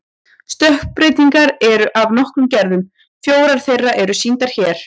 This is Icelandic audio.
Stökkbreytingar eru af nokkrum gerðum, fjórar þeirra eru sýndar hér.